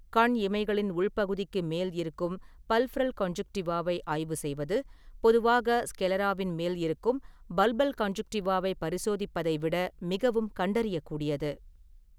கண் இமைகளின் உள் பகுதிகளுக்கு மேல் இருக்கும் பல்பெப்ரல் கான்ஜுன்டிவாவை ஆய்வு செய்வது, பொதுவாக ஸ்க்லெராவின் மேல் இருக்கும் பல்பல் கான்ஜுன்டிவாவை பரிசோதிப்பதை விட மிகவும் கண்டறியக்கூடியது.